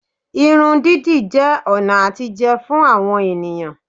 Irun dídì jẹ́ ọ̀nà àtijẹ fún àwọn ènìyàn